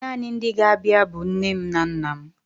Naanị ndị ga-abịa bụ nne m na nna m.